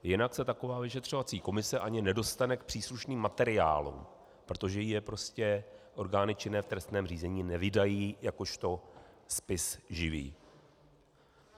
Jinak se taková vyšetřovací komise ani nedostane k příslušným materiálům, protože jí je prostě orgány činné v trestním řízení nevydají jakožto spis živý.